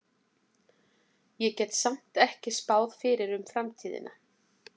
Ég get samt ekki spáð fyrir um framtíðina.